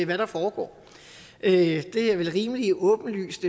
hvad der foregår det er vel rimelig åbenlyst